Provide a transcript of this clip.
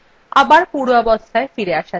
আবার পূর্বাবস্থায় ফিরে আসা যাক